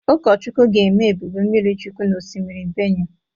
Ukọchukwụ ga-eme Ebube mmiri chukwụ na ọsimiri Benụe.